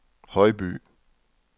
Højby